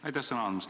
Aitäh sõna andmast!